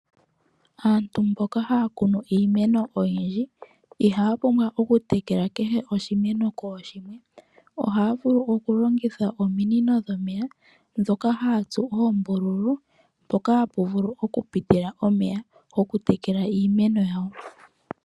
Aantu mboka haya kunu iimeno oyindji, ihaya pumbwa oku tekela kehe oshimeno kooshimwe. Ohaya vulu oku longitha ominino dhomeya ndhoka haya tsu oombululu mpoka hapu vulu oku pitila omeya goku tekela iimeno yawo.